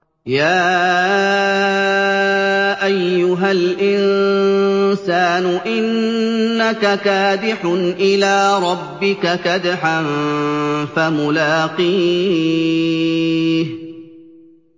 يَا أَيُّهَا الْإِنسَانُ إِنَّكَ كَادِحٌ إِلَىٰ رَبِّكَ كَدْحًا فَمُلَاقِيهِ